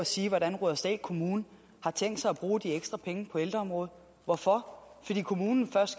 og sige hvordan rudersdal kommune har tænkt sig at bruge de ekstra penge på ældreområdet hvorfor fordi kommunen først